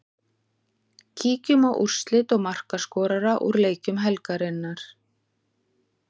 Kíkjum á úrslit og markaskorara úr leikjum helgarinnar.